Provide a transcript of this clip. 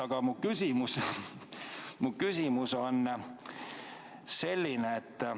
Aga mu küsimus on selline.